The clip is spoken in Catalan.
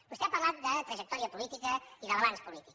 vostè ha parlat de trajectòria política i de balanç polític